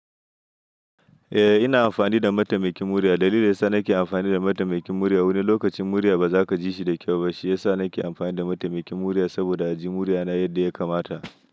Eh ina amfani da mataimakin murya. Dalilin da ya sa na ki amfani da mataimakin murya wani lokaci murya ba za ka gi shi da kau ba shi ya sa nake amfani da mataimakin murya sa bo da a gi murya na yan da yakamata.